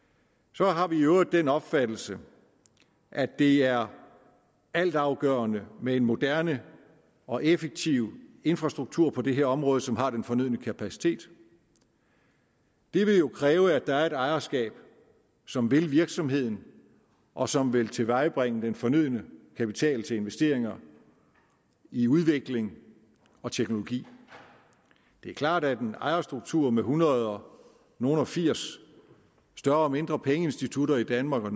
så har vi i øvrigt den opfattelse at det er altafgørende med en moderne og effektiv infrastruktur på det her område som har den fornødne kapacitet det vil jo kræve at der er et ejerskab som vil virksomheden og som vil tilvejebringe den fornødne kapital til investeringer i udvikling og teknologi det er klart at en ejerstruktur med hundrede nogle og firs større og mindre pengeinstitutter i danmark og